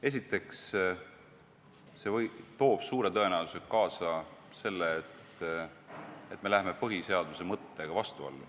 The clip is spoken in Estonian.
Esiteks, see toob suure tõenäosusega kaasa selle, et me lähme põhiseaduse mõttega vastuollu.